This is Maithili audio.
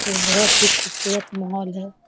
ये बहुत ही खूबसूरत माहौल है।